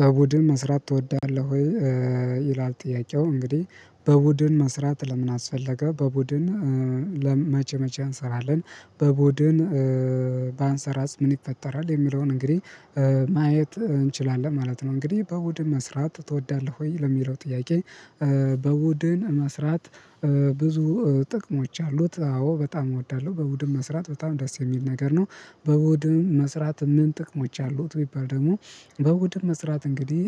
በቡድን መስራት ትወዳለህ ወይ? ይላል ጥያቄው እንግዲህ በቡድን መስራት ለምን አስፈለገ በቡድን በመቼ መቼ እንሰራለን በቡድን ባንሰራስ ምን ይፈጠራል የሚለውን እንግዲህ ማየት እንችላለን ማለት ነው። እንግዲህ በቡድ መስራት ትወዳለህ ወይ ለሚለው ጥያቄ? በቡድን መስራት ብዙ ጥቅሞች አሉት አዎ በጣም እወዳለሁ በቡድን መስራት በጣም ደስ የሚል ነገር ነው። በቡድን መስራት ምን ጥቅሞች አሉት ቢባል ደግሞ በቡድን መስራት እንግዲህ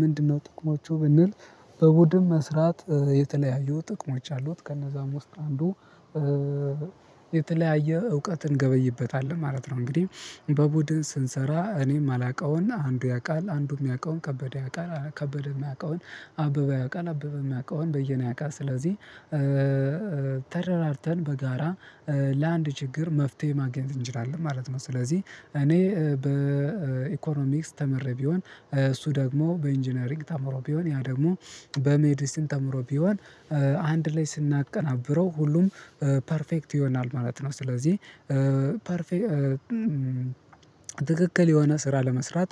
ምንድነው ጥቅሞቹ? ብንል በቡድን መስራት የተለያዩ ጥቅሞች አሉት ከነዛም ውስጥ አንዱ የተለያየ እውቀትን እንገበይበታለን ማለት ነው። እንግዲህ በቡድን ስንሰራ እኔ የማላውቀውን አንዱ ያውቃል አንዱም ያውቃል ከበደ ያውቃል ከበደ የሚያውቀውን አበበ ያውቃል አበበ የማውቀውን በየኔ ያውቃል ስለዚህ ተረዳድተን በጋራ ለአንድ ችግር መፍትሄ ማግኘት እንችላለን ማለት ነው። ስለዚህ እኔ በኢኮኖሚክስ ተምሬ ቢሆን እሱ ደግሞ በኢንጂነሪንግ ተምሮ ቢሆን ያ ደግሞ በሜዲስን ተምሮ ቢሆን አንድ ላይ ስናቀናብረው ሁሉም ፐርፌክት ይሆናል ማለት ነው። ስለዚህ ፐርፌክት ትክክል የሆነ ስራ ለመስራት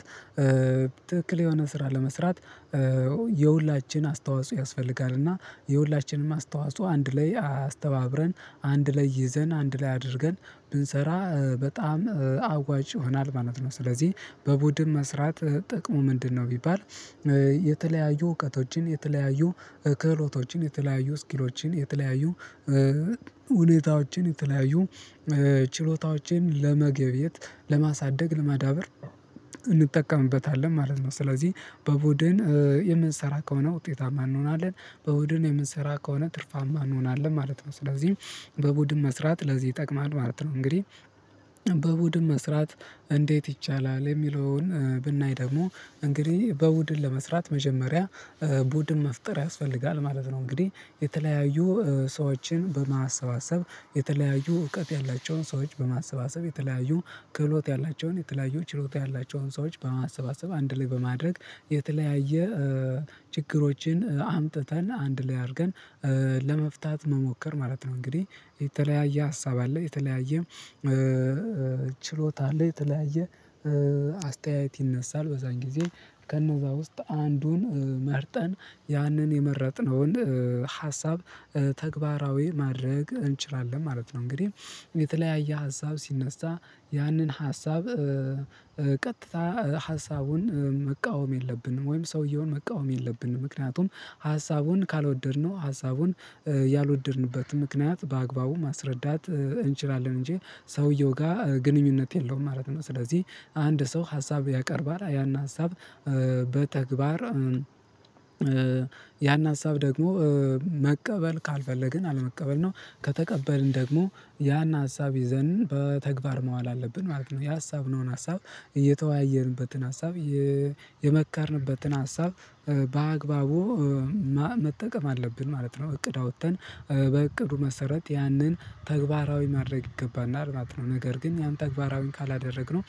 ትክክል የሆነ ስራ ለመስራት የሁላችን አስተዋጽኦ ያስፈልጋል እና የሁላችንም አስተዋጽኦ አንድ ላይ አስተባብረን አንድ ላይ ይዘን አንድ ላይ አድርገን ብንሰራ በጣም አዋጭ ይሆናል ማለት ነው። ስለዚህ በቡድን መስራት ጥቅሙ ምንድነው? ቢባል የተለያዩ እውቀቶችን የተለያዩ ክህሎቶችን የተለያዩ ስኪሎችን የተለያዩ ሁኔታዎችን የተለያዩ ችሎታዎችን ለመገብየት ለማሳደግ ለማዳበር እንጠቀምበታለን ማለት ነው። ስለዚህ በቡድን የምንሰራ ከሆነ ውጤታማ እንሆናለን በቡድን የምንሰራ ከሆነ ትርፋማ እንሆናለን ማለት ነው። ስለዚህ በቡድን መስራት ለዚህ ይጠቅማል ማለት ነው። እንግዲህ በቡድን መስራት እንዴት ይቻላል የሚለውን ብናይ ደግሞ እንግዲህ በቡድን ለመስራት መጀመሪያ ቡድን መፍጠር ያስፈልጋል ማለት ነው። እንግዲህ የተለያዩ ሰዎችን በማሰባሰብ የተለያዩ እውቀት ያላቸውን ሰዎች በማሰባሰብ የተለያዩ ክህሎት ያላቸውን የተለያዩ ችሎታ ያላቸውን ሰዎች በማሰባሰብ አንድ ላይ በማድረግ የተለያየ ችግሮችን አምጥተን አንድ ላይ አድርገን ለመፍታት መሞከር ማለት ነው። እንግዲህ የተለያየ ሀሳብ አለ የተለያየ ችሎታ አለ የተለያየ አስተያየት ይነሳል በዛን ጊዜ ከነዛ ውስጥ አንዱን መርጠን ያንን የመረጥነውን ሀሳብ ተግባራዊ ማድረግ እንችላለን ማለት ነው። እንግዲህ የተለያየ ሀሳብ ሲነሳ ያንን ሀሳብ ቀጥታ ሀሳቡን መቃወም የለብንም ወይም ሰውየውን መቃወም የለብንም ምክንያቱም ሀሳቡን ካልወደድነው ሀሳቡን ያልወደድንበት ምክንያት በአግባቡ ማስረዳት እንችላለን እንጂ ሰውየው ጋር ግንኙነት የለውም ማለት ነው። ስለዚህ አንድ ሰው ሀሳብ ያቀርባል ያን ሀሳብ በተግባር ያን ሀሳብ ደግሞ መቀበል ካልፈለግን አለመቀበል ነው ከተቀበልን ደግሞ ያን ሀሳብ ይዘን በተግባር መዋል አለብን ማለት ነው። የሀሳብ ነው ሀሳብ እየተወያየንበትን ሀሳብ የመከርንበትን ሀሳብ በአግባቡ መጠቀም አለብን ማለት ነው። እቅድ አውጥተን በእቅዱ መሰረት ያንን ተግባራዊ ማድረግ ይገባና ማለተ ነው ነገር ግን ያን ተግባራዊ ካላደረግነው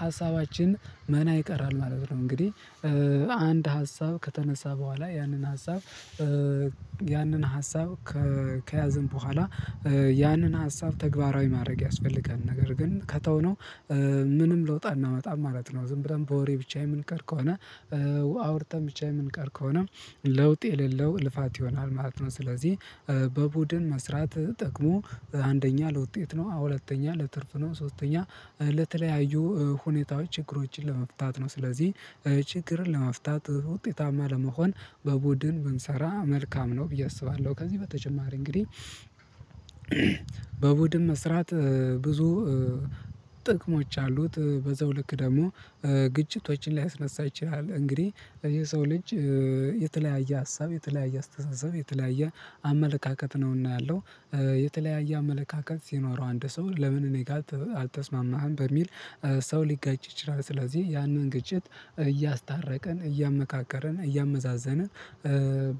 ሀሳባችን መና ይቀራል ማለት ነው። እንግዲህ አንድ ሀሳብ ከተነሳ በኋላ ያንን ሀሳብ ያንን ሀሳብ ከያዘን በኋላ ያንን ሀሳብ ተግባራዊ ማድረግ ያስፈልጋል ነገር ግን ከተውነው ምንም ልውጥ አናመጣም ማለት ነው። ዝም ብለን በወሬ ብቻ የምንቀር ከሆነ ውሃ አውርተን ብቻ የምንቀር ከሆነ ለውጥ የሌለው ልፋት ይሆናል ማለት ነው። ስለዚህ በቡድን መስራት ጥቅሙ አንደኛ ለውጤት ነው አሁን ሁለተኛ ለትርፍ ነው ሶስተኛ ለተለያዩ ሁኔታዎች ችግሮችን ለመፍታት ነው። ስለዚህ ችግርን ለመፍታት ውጤታማ ለመሆን በቡድን ብንሰራ መልካም ነው ብዬ አስባለሁ። ከዚህ በተጨማሪ እንግዲህ በቡድን መስራት ብዙ ጥቅሞች አሉት በዛው ልክ ደግሞ ግጭቶችን ሊያስነሳ ይችላል። እንግዲህ የሰው ልጅ የተለያየ ሀሳብ የተለያየ አስተሳሰብ የተለያየ አመለካከት ነውና ያለው የተለያየ አመለካከት ሲኖረው አንድ ሰው ለምን እኔ ጋር አልተስማማህም በሚል ሰው ሊጋጭ ይችላል ስለዚህ ያንን ግጭት እያስታረቀን እያመካከርን እያመዛዘንን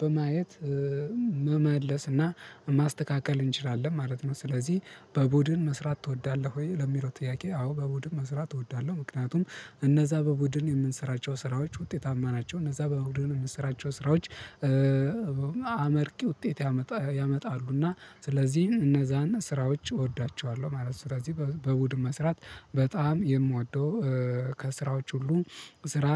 በማየት መመለስና ማስተካከል እንችላለን ማለት ነው። ስለዚህ በቡድን መስራት ትወዳለህ ወይ ለሚለው ጥያቄ? አዎ በቡድን መስራት እወዳለሁ ምክንያቱም እነዛ በቡድን የምንሰራቸው ስራዎች ውጤታማ ናቸው እነዛ በቡድን የምንሰራቸው ስራዎች አመርቂ ውጤት ያመጣሉና ስለዚህ እነዛና ስራዎች እወዳቸዋለሁ ማለት ነው። ስለዚህ በቡድን መስራት በጣም የምወደው ከስራዎች ሁሉ ስራ